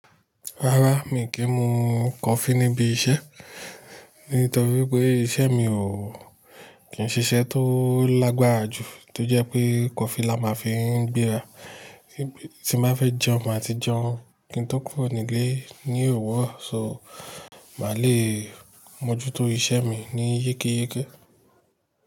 Rárá, mí kì mú coffee níbi iṣẹ́. Nítorí pé iṣẹ́ mi ò kí n ṣiṣẹ́ tó lágbára jù tó jẹ́ pé coffee la máa fi ń gbéra. Tí bá fẹ́ jẹun, máa ti jẹun. Kí n tó kúrò nílé ni owurọ. So màá le mojuto iṣẹ́ mi ní yékéyéké.